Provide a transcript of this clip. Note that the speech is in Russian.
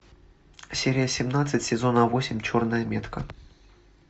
серия семнадцать сезона восемь черная метка